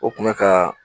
O kun bɛ ka